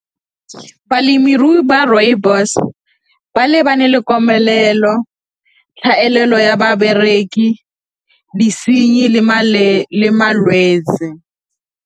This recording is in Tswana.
Balemirui ba rooibos ba lebane le komelelo, tlhaelelo ya babereki, disenyi le malwetse.